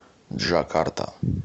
джакарта